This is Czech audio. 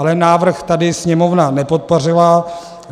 Ale návrh tady Sněmovna nepodpořila.